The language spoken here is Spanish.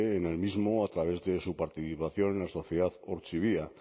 en el mismo a través de su participación en la sociedad ortzibia